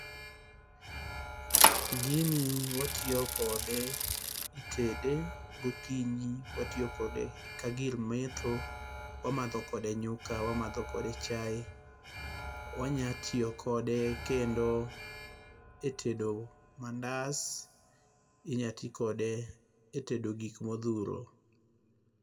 Gini watiyo kode, itede. Gokinyi watiyo kode ka gir metho. Wamadho kode nyuka, wamadho kode chae. Wanya tiyo kode kendo e tedo mandas, inya ti kode e tedo gik modhuro.